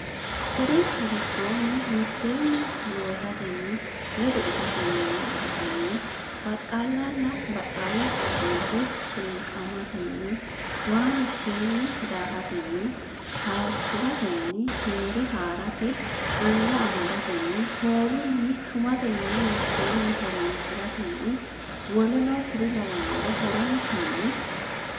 Kuri giddonni mitteenni loosatenni ledo itatenninna agatenni baqqaallanna baqqaalla xaadinse sunqamatenni waa mitteenni daahatenninna hayishshi ratenni keere haa rate anga amadatenni foolunni shumate mine mitteenni horonsi ratenninna w k l horontanni.